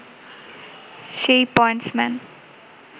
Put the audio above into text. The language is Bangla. সে-ই পয়েন্টসম্যান